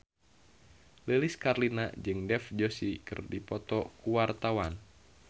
Lilis Karlina jeung Dev Joshi keur dipoto ku wartawan